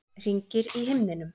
Hringir í himninum.